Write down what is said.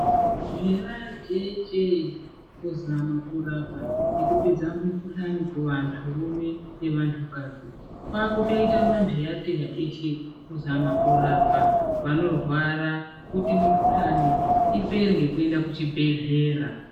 Zvera jeeche kurapa nekupedza mikhuhlane kuvantu rume nevantu kadzi. Kwakutoita manteyateya eshe kuzama kurapa vanorwara kuti mukhuhlane ipere ngekuenda kuchibhehlera.